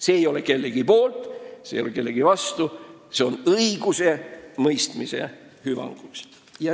See ei ole kellegi poolt ja see ei ole kellegi vastu – see eelnõu on koostatud õigusemõistmise hüvanguks.